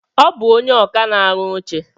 Ọ bụ ónyé ọkà na-arụ oche.